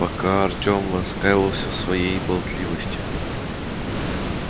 а пока артем раскаивался в своей болтливости